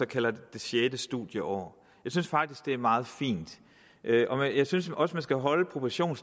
kaldt det sjette studieår jeg synes faktisk det er meget fint jeg synes også at man skal holde proportionerne